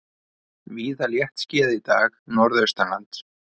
Víða léttskýjað í dag norðaustanlands